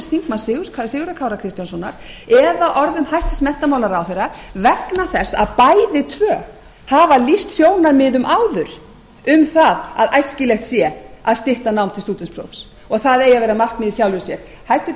þingmanns sigurðar kára kristjánssonar eða orðum hæstvirts menntamálaráðherra vegna þess að bæði tvö hafa lýst sjónarmiðum áður um það að æskilegt sé að stytta nám til stúdentsprófs og það eigi að vera markmið í sjálfu sér hæstvirtur